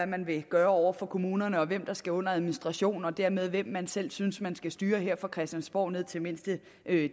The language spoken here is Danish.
man vil gøre over for kommunerne og hvem der skal under administration og dermed om hvem man selv synes man skal styre her fra christiansborg ned i mindste